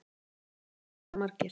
Valgeir: Alltof margir?